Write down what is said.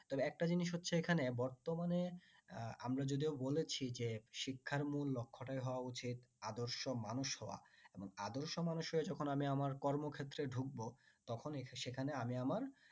তবে একটা জিনিস হচ্ছে এখানে বর্তমানে উম আমরা যদিও বলেছি যে শিক্ষার মূল লক্ষ্য টাই হওয়া উচিত আদর্শ মানুষ হওয়া এবং আদর্শ মানুষ হয়ে যখন আমি আমার কর্মক্ষেত্রে ঢুকবো তখন সেখানে আমি আমার